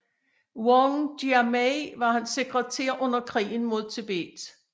Wang Jiamei var hans sekretær under krigen mod Tibet